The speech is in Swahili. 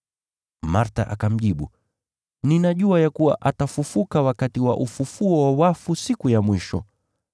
Martha akamjibu, “Ninajua ya kuwa atafufuka wakati wa ufufuo wa wafu siku ya mwisho.”